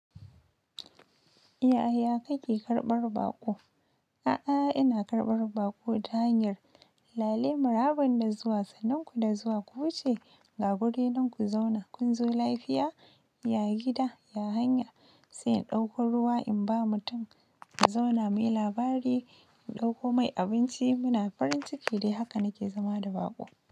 Ya ya kake karɓar baƙo? A'a, ina karɓar baƙo ta hanyar lale. Maraban da zuwa, sananku da zuwa ku wuce ga guri nan ku zauna. Kun zo lafiya, ya gida, ya hanya. Sai in ɗauko ruwa in ba mutum su zauna, muyi labari, in ɗauko mai abinci muna farin ciki dai haka nake zama da baƙo.